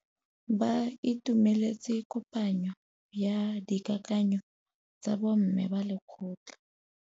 Ba itumeletse kôpanyo ya dikakanyô tsa bo mme ba lekgotla.